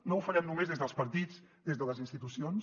no ho farem només des dels partits des de les institucions